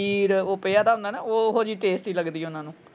ਉਹ ਪਿਆ ਦਾ ਹੁੰਦਾ ਨਾ ਓਹੋ ਜਿਹੀ tasty ਲੱਗਦੀ ਓਹਨਾ ਨੂੰ।